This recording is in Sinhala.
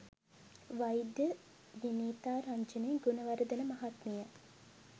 වෛද්‍ය විනීතා රංජනී ගුණවර්ධන මහත්මිය